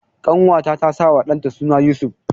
Ƙanwata ta sawa ɗanta suna Yusuf.